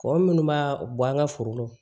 Kɔgɔ minnu b'a bɔ an ka foro kɔnɔ